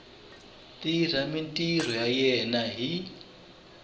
tirha mintirho ya yena hi